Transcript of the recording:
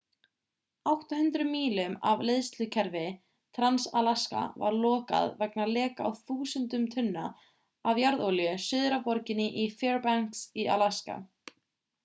800 mílum af leiðslukerfi trans-alaska var lokað vegna leka á þúsundum tunna af jarðolíu suður af borginni fairbanks í alaska